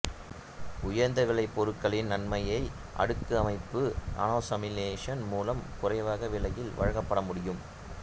உயர்ந்த விலை பொருட்களின் நன்மையை அடுக்கு அமைப்பு நானோசலேமினேஷன் மூலம் குறைவான விலையில் வழங்கமுடியும்